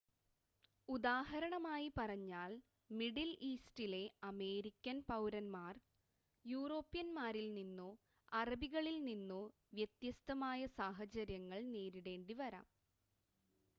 ഉദാഹരണമായി പറഞ്ഞാൽ മിഡിൽ ഈസ്റ്റിലെ അമേരിക്കൻ പൗരന്മാർ യൂറോപ്യന്മാരിൽ നിന്നോ അറബികളിൽ നിന്നോ വ്യത്യസ്തമായ സാഹചര്യങ്ങൾ നേരിടേണ്ടിവരാം